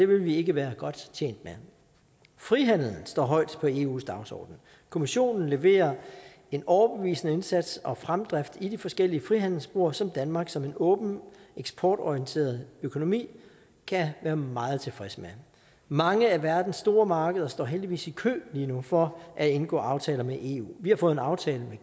vi ikke være godt tjent med frihandel står højt på eus dagsorden kommissionen leverer en overbevisende indsats og fremdrift i de forskellige frihandelsspor som danmark som en åben eksportorienteret økonomi kan være meget tilfreds med mange af verdens store markeder står heldigvis i kø lige nu for at indgå aftaler med eu vi har fået en aftale med